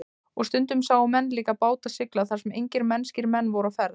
Og stundum sáu menn líka báta sigla þar sem engir mennskir menn voru á ferð.